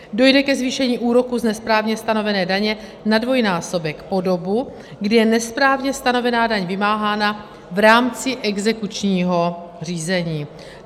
Dojde ke zvýšení úroku z nesprávně stanovené daně na dvojnásobek po dobu, kdy je nesprávně stanovená daň vymáhána v rámci exekučního řízení.